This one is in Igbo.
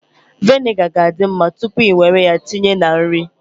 Viniga ga-adi mma tupu i nwere ya tinye na nri